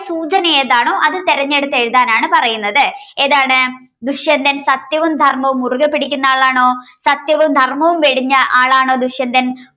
സൂചന ഏതാണോ അത് തിരഞ്ഞെടുത്ത് എഴുതാനാണ് പറയുന്നത്. ഏതാണ് ദുഷ്യന്തൻ സത്യവും ധർമ്മവും മുറുകെ പിടിക്കുന്ന ആളാണോ സത്യവും ധർമ്മവും വെടിഞ്ഞ ആളാണോ ദുഷ്യന്തൻ